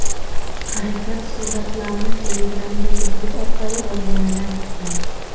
Harakat suratlarni Telegram’dagi bot orqali olganini aytgan.